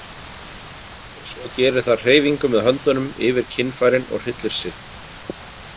Og svo gerir það hreyfingu með höndunum yfir kynfærin og hryllir sig.